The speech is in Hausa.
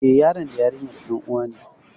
Eh, yaron da yarinyar ƴan uwa ne